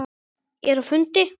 Ég er á fundi